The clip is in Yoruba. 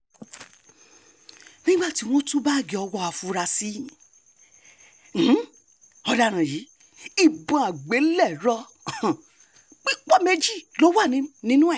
nígbà tí wọ́n tú báàgì owó àfúráṣí um ọ̀daràn yìí ìbọn àgbélẹ̀rọ̀ um pípọ̀ méjì ló wà nínú ẹ̀